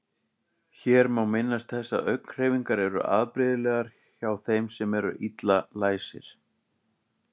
Hér má minnast þess að augnhreyfingar eru afbrigðilegar hjá þeim sem eru illa læsir.